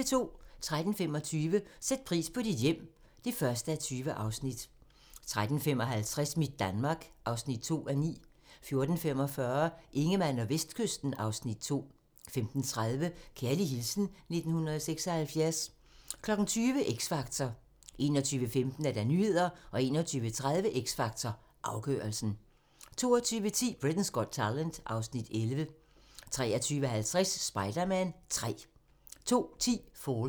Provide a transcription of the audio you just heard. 13:25: Sæt pris på dit hjem (1:20) 13:55: Mit Danmark (2:9) 14:45: Ingemann og Vestkysten (Afs. 2) 15:30: Kærlig hilsen 1976 20:00: X Factor 21:15: Nyhederne 21:30: X Factor - afgørelsen 22:10: Britain's Got Talent (Afs. 11) 23:50: Spider-Man 3 02:10: Fallen